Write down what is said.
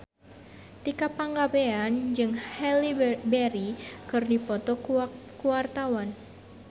Tika Pangabean jeung Halle Berry keur dipoto ku wartawan